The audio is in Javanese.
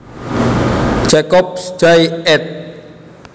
Jacobs Jay ed